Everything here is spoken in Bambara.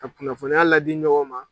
Ka kunnafoniya ladi ɲɔgɔn ma.